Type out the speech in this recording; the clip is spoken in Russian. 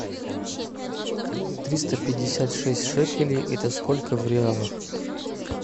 триста пятьдесят шесть шекелей это сколько в реалах